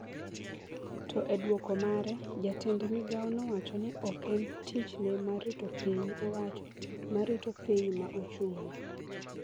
To e duoko mare, Jatend Migao nowacho ni ok en tichne mar rito piny owacho ma rito piny ma ochung’ne.